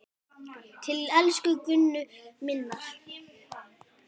Til elsku Gunnu minnar.